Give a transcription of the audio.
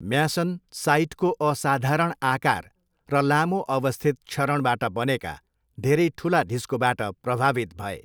म्यासन साइटको असाधारण आकार र लामो अवस्थित क्षरणबाट बनेका धेरै ठुला ढिस्कोबाट प्रभावित भए।